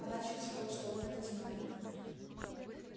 она чувствовала что он это знает